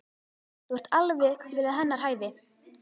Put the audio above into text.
Þú ert alveg við hennar hæfi.